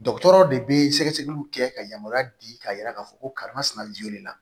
Dɔgɔtɔrɔ de bɛ sɛgɛsɛgɛliw kɛ ka yamaruya di k'a yira k'a fɔ ko karimasina jolenna